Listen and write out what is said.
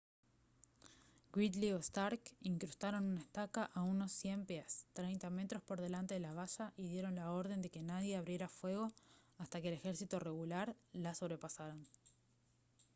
gridley o stark incrustaron una estaca a unos 100 pies 30 metros por delante de la valla y dieron la orden de que nadie abriera fuego hasta que el ejército regular la sobrepasaran